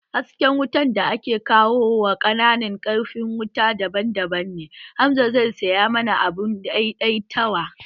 Hasken wutan da ake kawo wa kwananan ƙarfin wutan daban-daban ne, Hamza zai saya mana abun dai dai tawa